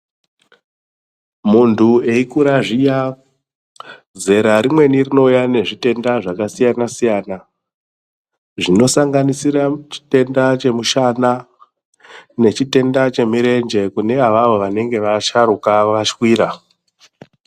Muntu eikura zviya zera rimweni rinouya nezvitenda zvakasiyana siyana zvinosanganisira chitenda chemushana nechitenda chimirenje kune avavo vanenge vasharuka vashwira .